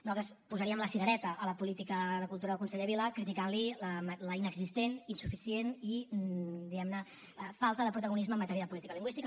nosaltres posaríem la cirereta a la política de cultura del conseller vila criticant li l’inexistent insuficient i diguem ne falta de protagonisme en matèria de política lingüística